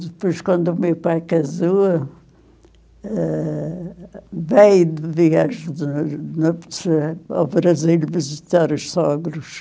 Depois, quando o meu pai casou, eh, veio de viagem de nu núpcias ao Brasil visitar os sogros.